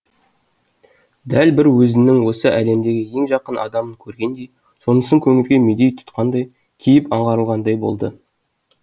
дәл бір өзінің осы әлемдегі ең жақын адамын көргендей сонысын көңілге медеу тұтқандай кейіп аңғарылғандай болды